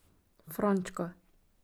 Frančka.